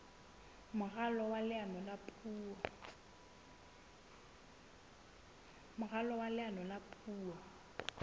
moralo wa leano la puo